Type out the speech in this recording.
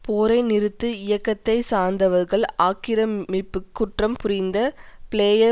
போரை நிறுத்து இயக்கத்தை சார்ந்தவர்கள் ஆக்கிரமிப்பு குற்றம் புரிந்த பிளேயர்